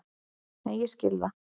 Nei, ég skil það.